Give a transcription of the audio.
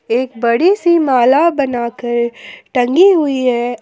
एक बड़ी सी माला बनाकर टंगी हुई है।